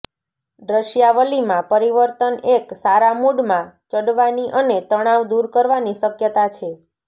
દૃશ્યાવલિમાં પરિવર્તન એક સારા મૂડમાં ચડવાની અને તણાવ દૂર કરવાની શક્યતા છે